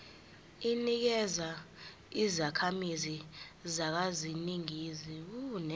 inikezwa izakhamizi zaseningizimu